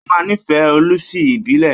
Ó máa nífẹ̀ẹ́ olifi ìbílẹ̀